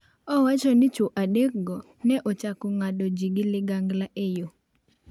Owacho ni chwo adekgo ne ochako .ng’ado ji gi ligangla e yo.